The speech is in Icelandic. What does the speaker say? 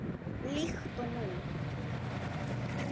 Líkt og nú.